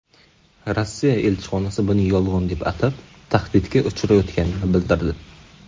Rossiya elchixonasi buni yolg‘on deb atab, tahdidga uchrayotganini bildirdi.